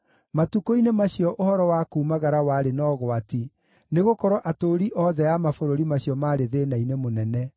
Matukũ-inĩ macio ũhoro wa kuumagara warĩ na ũgwati nĩgũkorwo atũũri othe a mabũrũri macio maarĩ thĩĩna-inĩ mũnene.